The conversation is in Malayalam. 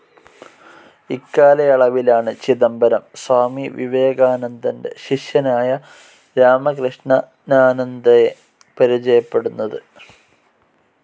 ഇക്കാലയളവിലാണ് ചിദംബരം സ്വാമി വിവേകാനാന്ദന്റെ ശിഷ്യനായ രാമകൃഷ്ണനാനന്ദയെ പരിചയപ്പെടുന്നത്.